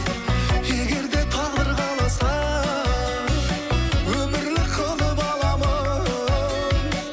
егер де тағдыр қаласа өмірлік қылып аламын